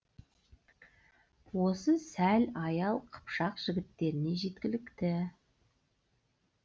осы сәл аял қыпшақ жігіттеріне жеткілікті